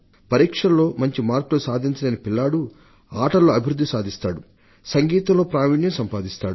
పరీక్షల్లో మంచి మార్కులు సాధించలేని పిల్లవాడు ఆటల్లో అభివృద్ధి సాధిస్తాడు సంగీతంలో ప్రావీణ్యం సంపాదిస్తాడు